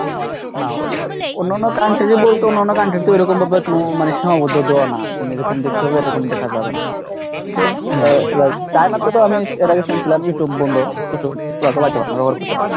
না ওদের অন্যান্য country বলতে অন্যান্য country তে ওরকম ভাবে কোনো মানে সীমাবদ্ধ দেওয়া না এরকম দেখতে হবে এরকম দেখা যাবে না। চায়নাতে তো আমি এর আগে শুনছিলাম YouTube বন্ধ YouTube ওরা চলাইতে পারবে না, ব্যবহার করতে পারবে না।